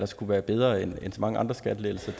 skulle være bedre end så mange andre skattelettelser